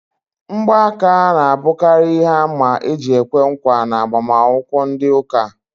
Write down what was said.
Ngba aka ná abukari ihe àmà eji ekwe nkwa n'agbamakwukwo ndị ụka